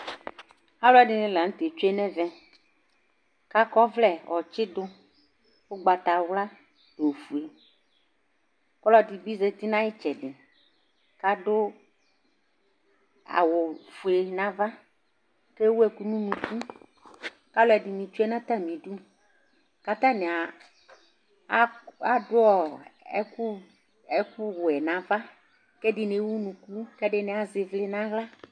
Aluɛdini la nu tɛ tsue nu ɛvɛ kakɔ ɔvlɛ ɔtsidu ugbatawla nu ofue ɔlɔdi bi zati nu ayitsɛdi kadu awu ofue nava kewu ɛku nu unuku kaluɛdini tsue nu atamidu katani adu ɛku wɛ nava kɛdini ewu unuku kɛdini azɛ ivlitsɛ naɣla